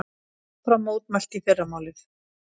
Áfram mótmælt í fyrramálið